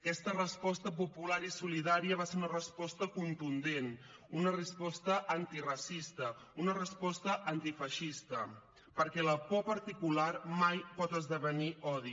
aquesta resposta popular i solidària va ser una resposta contundent una resposta antiracista una resposta antifeixista perquè la por particular mai pot esdevenir odi